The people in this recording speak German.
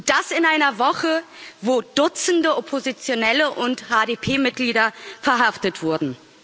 Und das in einer Woche, wo Dutzende Oppositionelle und HDP Mitglieder verhaftet wurden.